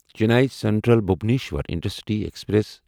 Chennai central Bhubaneswar intercity express